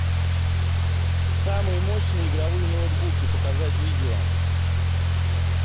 самые мощные игровые ноутбуки показать видео